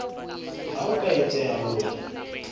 ha ho ka etseha hore